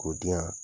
K'o di yan